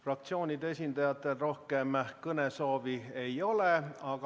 Fraktsioonide esindajatel rohkem kõnesoovi ei ole.